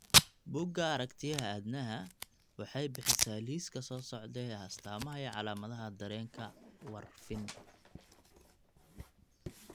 Buugga Aragtiyaha Aadanaha waxay bixisaa liiska soo socda ee astamaha iyo calaamadaha dareenka Warfarin.